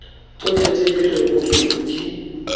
tsotlhe tse di rebotsweng di